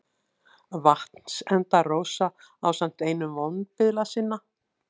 Vatnsenda-Rósa ásamt einum vonbiðla sinna.